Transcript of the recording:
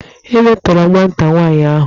E metọrọ nwata nwaanyi ahụ.